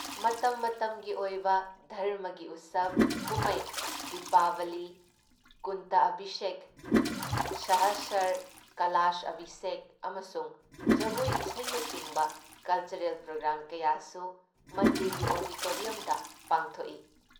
ꯃꯇꯝ ꯃꯇꯝꯒꯤ ꯑꯣꯏꯕ ꯙꯔꯝꯃꯒꯤ ꯎꯠꯁꯕ ꯀꯨꯝꯃꯩ ꯗꯤꯄꯥꯕꯂꯤ, ꯀꯨꯟꯇ ꯑꯚꯤꯁꯦꯛ, ꯁꯍꯁꯔ ꯀꯥꯂꯥꯁ ꯑꯚꯤꯁꯦꯛ ꯑꯃꯁꯨꯡ ꯖꯒꯣꯏ ꯏꯁꯩꯅꯆꯤꯡꯕ ꯀꯜꯆꯔꯦꯜ ꯄ꯭ꯔꯣꯒ꯭ꯔꯥꯝ ꯀꯌꯥꯁꯨ ꯃꯟꯗꯤꯔꯒꯤ ꯑꯣꯔꯤꯇꯣꯔꯤꯌꯝꯗ ꯄꯥꯡꯊꯣꯛꯏ ꯫